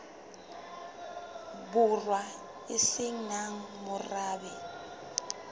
borwa e se nang morabe